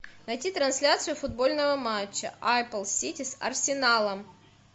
найти трансляцию футбольного матча апл сити с арсеналом